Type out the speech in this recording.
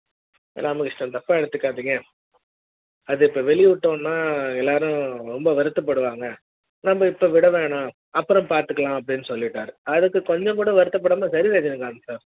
ராமகிருஷ்ண தப்பா எடுத்துக்காதீங்க அது இப்ப வெளியிட்டம்னா எல்லாரும் ரொம்ப வருத்தப்படுவாங்க நம்ம இப்ப விட வேணாம் அப்புற ம் பாத்துக்கலாம் அப்டினு சொல்லிட்டாரு அதுக்கு கொஞ்சம் கூட வருத்தப்படாமல் சரிங்க ரஜினிகாந்த் sir